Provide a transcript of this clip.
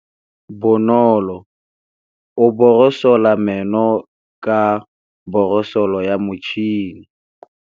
Bonolô o borosola meno ka borosolo ya motšhine.